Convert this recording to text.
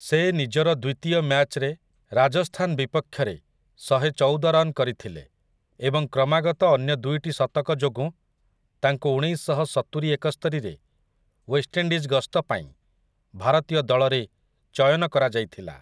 ସେ ନିଜର ଦ୍ୱିତୀୟ ମ୍ୟାଚରେ ରାଜସ୍ଥାନ ବିପକ୍ଷରେ ଶହେଚଉଦ ରନ୍ କରିଥିଲେ ଏବଂ କ୍ରମାଗତ ଅନ୍ୟ ଦୁଇଟି ଶତକଯୋଗୁଁ ତାଙ୍କୁ ଉଣେଇଶଶହ ସତୁରି ଏକସ୍ତରି ରେ ୱେଷ୍ଟଇଣ୍ଡିଜ୍ ଗସ୍ତପାଇଁ ଭାରତୀୟ ଦଳରେ ଚୟନ କରାଯାଇଥିଲା ।